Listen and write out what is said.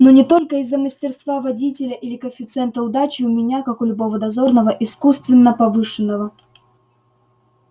но не только из-за мастерства водителя или коэффициента удачи у меня как у любого дозорного искусственно повышенного